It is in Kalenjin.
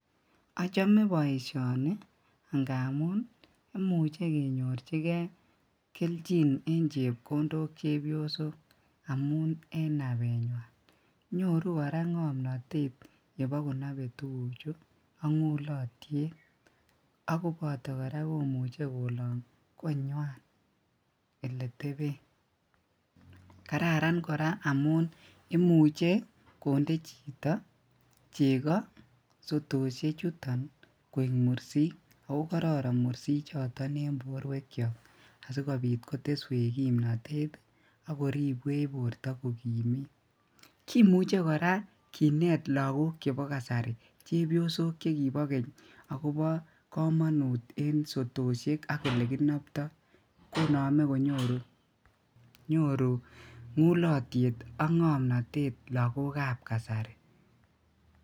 Ochome boishoni nga'muun imuche kenyorchikee kelchin en chepkondok chebiosok amuun en nabenywan, nyoruu kora ng'omnotet yebo konobee tukuchu ak ng'ulotyet akoboto kora komuche kolong konywan eletebeen, kararan kora amuun imuche kondee chito chekoo sotoshe chuton koik mursik akoo kororon mursichoton en borwekyok asikobiit koteswech kipnotet ak koribwech borto kokimiit, kimuche kora lakok chebo kasari chebiosok chekibo keny akobo komonut en sotoshek ak elekinobto, konome konyoru ng'ulotyet ak ng'omnotet lakokab kasari.